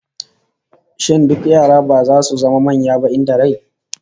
Shin duk yara ba zasu zama manya ba in da rai?